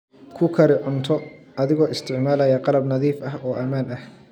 Ku kari cunto adigoo isticmaalaya qalab nadiif ah oo ammaan ah.